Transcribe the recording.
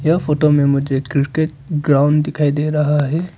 यह फोटो में मुझे क्रिकेट ग्राउंड दिखाई दे रहा है।